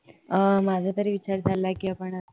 अह माझा तरी विचार चाललंय की आपण